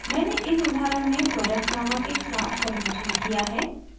मैंने इस उदाहरण में product नामक एक क्लास परिभाषित किया है